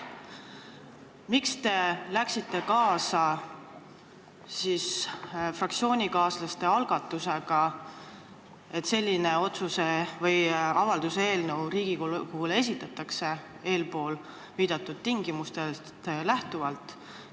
Miks te läksite siis kaasa fraktsioonikaaslaste algatusega, et selline otsuse või avalduse eelnõu eespool viidatud tingimustest lähtuvalt Riigikogule esitatakse?